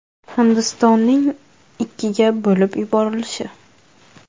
Hindistonning ikkiga bo‘lib yuborilishi.